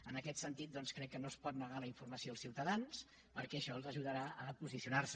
en aquest sentit doncs crec que no es pot negar la informació als ciutadans perquè això els ajudarà a posicionar se